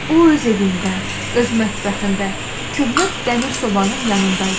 O öz evində, öz mətbəxində, köhnə dəmir sobanın yanındaydı.